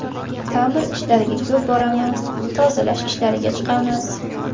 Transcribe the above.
Ta’mir ishlariga ko‘p boramiz, tozalash ishlariga chiqamiz.